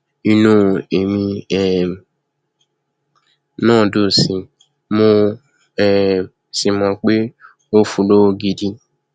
inú èmi um náà dùn sí i mo um sì mọ pé n óò fún un lọwọ gidi